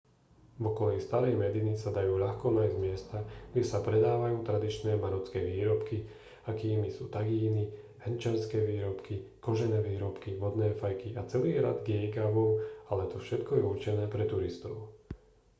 v okolí starej mediny sa dajú ľahko nájsť miesta kde sa predávajú tradičné marocké výrobky akými sú tagíny hrnčiarske výrobky kožené výrobky vodné fajky a celý rad geegawov ale to všetko je určené pre turistov